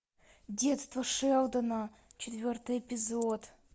детство шелдона четвертый эпизод